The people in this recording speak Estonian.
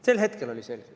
Sel hetkel oli see selge.